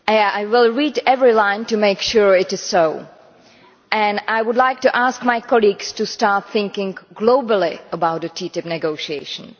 I will read every line to make sure it is so, and I would like to ask my colleagues to start thinking globally about the TTIP negotiations.